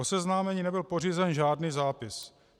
O seznámení nebyl pořízen žádný zápis.